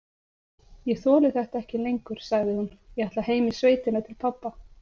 Ég þoli þetta ekki lengur, sagði hún,- ég ætla heim í sveitina til pabba.